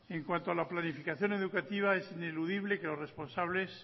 en cuanto a la planificación educativa es ineludible que los responsables